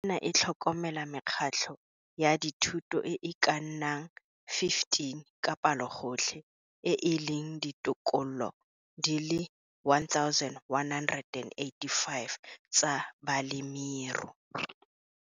Ofisi ena e tlhokomela mekgatlho ya dithuto e e ka nnang 15 ka palogotlhe e e leng ditokolo di le 1 185 tsa balemiru.